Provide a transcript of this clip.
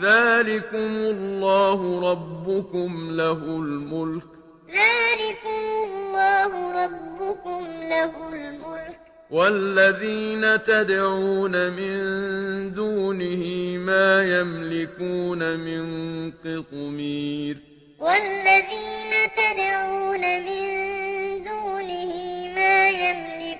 ذَٰلِكُمُ اللَّهُ رَبُّكُمْ لَهُ الْمُلْكُ ۚ وَالَّذِينَ تَدْعُونَ مِن دُونِهِ مَا يَمْلِكُونَ مِن قِطْمِيرٍ يُولِجُ اللَّيْلَ فِي النَّهَارِ وَيُولِجُ النَّهَارَ فِي اللَّيْلِ وَسَخَّرَ الشَّمْسَ وَالْقَمَرَ كُلٌّ يَجْرِي لِأَجَلٍ